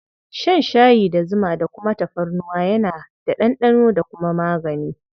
Shan shayi da zuma da kuma tafarnuwa yana da ɗanɗano da kuma magani.